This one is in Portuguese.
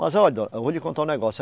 Mas olha, eu vou lhe contar um negócio.